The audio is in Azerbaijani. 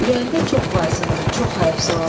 Ürəyində çox vahsiandı, çox həyəfsılandı.